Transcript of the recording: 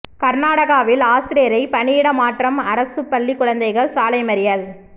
கர்நாடகாவில் ஆசிரியை பணியிட மாற்றம் அரசுப் பள்ளிக் குழந்தைகள் சாலை மறியல்